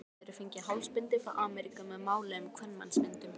Nú höfðu þeir fengið hálsbindi frá Ameríku með máluðum kvenmannsmyndum.